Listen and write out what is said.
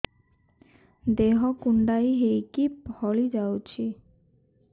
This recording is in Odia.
ଦେହ କୁଣ୍ଡେଇ ହେଇକି ଫଳି ଯାଉଛି